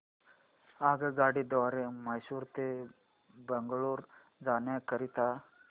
आगगाडी द्वारे मैसूर ते बंगळुरू जाण्या करीता